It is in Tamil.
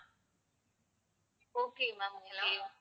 okay ma'am okay